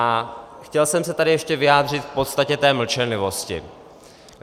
A chtěl jsem se tady ještě vyjádřit k podstatě té mlčenlivosti.